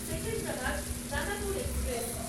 Secunderabad Danapur express